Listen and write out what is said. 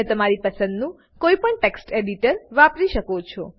તમે તમારી પસંદનું કોઈપણ ટેક્સ્ટ એડિટર વાપરી શકો છો